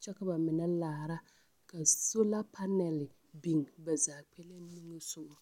kyɛ ka ba mine laara ka sola panɛle biŋ ba zaa kpɛlɛŋ niŋe sogɔ.